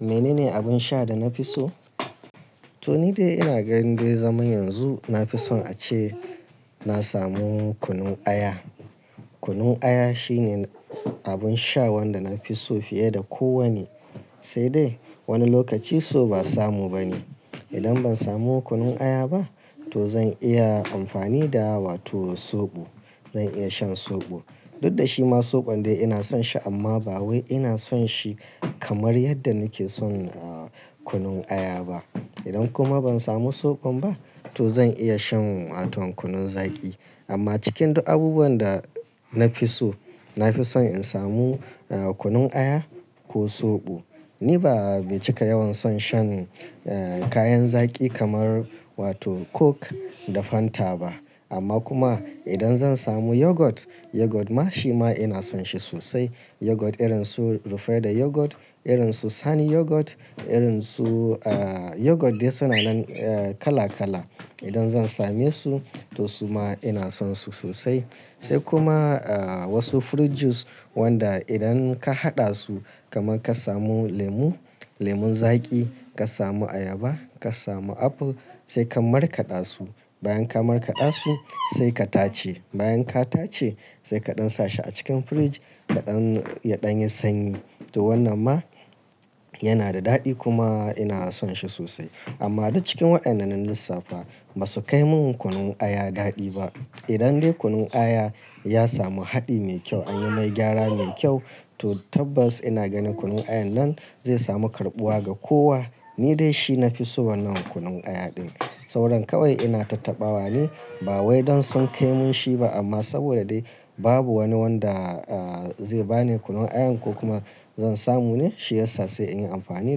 Mene ne abin sha da na fi so? To ni dai ina ganin dai zaman yanzu na fi son ace na samu kunun aya. Kunun aya shine abun sha wanda na fi so fiye da kowanne. Sai dai wani lokaci so ba samu ba ne. Idan ban samu kunun aya ba, to zan iya amfani da wato zoɓo. Zan iya shan zoɓo. Duk da shi ma zoɓon dai ina son shi amma ba wai ina son shi kamar yadda nake son kunun aya ba. Idan kuma ban samu zoɓon ba, to zan iya shan wato kunun zaki. Amma cikin duk abubuwan da na fi so, na fi son in samu kunun aya ko soɓo. Ni ba, mai cika yawan son shan kayan zaki kamar wato coke da fanta ba. Amma kuma idan zan samu yogurt, yogurt ma shi ma ina son shi sosai. Yogurt irin su Rufaidah yogurt, irin su Sani yogurt, irin su yogurt dai suna nan kala kala. Idan zan same su, to su ma ina son su sosai. Sai kuma wasu fruit juice wanda idan ka haɗa su kamar ka samu lemu, lemun zaƙi, ka samu ayaba, ka samu apple, sai ka markaɗa su. Bayan ka markaɗa su, sai ka tace. Bayan ka tace, sai ka ɗan sa shi a cikin fridge ka ɗan, ya ɗan yi sanyi. To wannan ma yana da daɗi kuma ina son shi sosai. Amma duk cikin wadanna na lissafa ba su kai min kunun aya daɗi ba. Idan dai kunun aya ya samu haɗi mai kyau, anyi mai gyara mai kyau, to tabbas ina ganin kunun ayan nan zai samu karɓuwa ga kowa. Ni dai shi na fi so wannan kunun aya ɗin. Sauran kawai ina tattaɓawa ne ba wai don sun kai mun shi ba amma saboda dai babu wani wanda zai bani kunun aya ko kuma zan samu ne shiyasa sai in yi amfani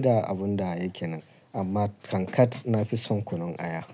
da abun da yake nan. Amma kankat na fi son kunun aya.